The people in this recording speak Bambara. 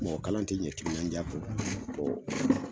Mɔgɔ kalan ti ɲɛ timinaja kɔ